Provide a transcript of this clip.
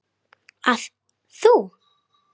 Heim í Lund.